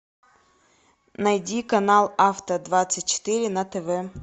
найди канал авто двадцать четыре на тв